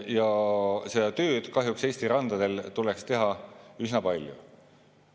Ja seda tööd kahjuks Eesti randadel tuleks teha üsna palju.